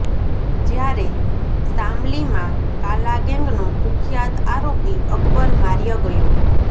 જ્યારે શામલીમાં કાલા ગેંગનો કુખ્યાત આરોપી અકબર માર્યો ગયો